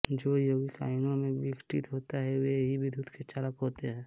जो यौगिक आयनों में विघटित होते हैं वे ही विद्युत् के चालक होते हैं